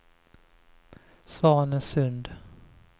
Svanesund